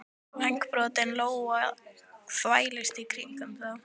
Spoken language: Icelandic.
Vængbrotin lóa þvældist í kringum þá.